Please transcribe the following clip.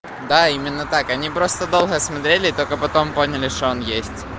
да именно так они просто долго смотрели и только потом поняли что он есть